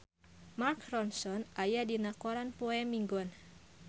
Mark Ronson aya dina koran poe Minggon